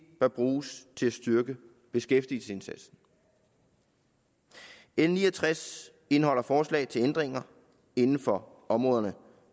bør bruges til at styrke beskæftigelsesindsatsen l ni og tres indeholder forslag til ændringer inden for områderne